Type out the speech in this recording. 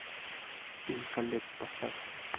фильм колетт поставь